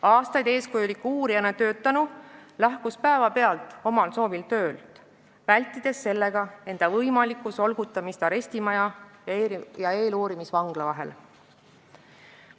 Aastaid eeskujuliku uurijana töötanu lahkus päevapealt omal soovil töölt, vältides sellega enda võimalikku solgutamist arestimaja ja eeluurimisvangla vahel.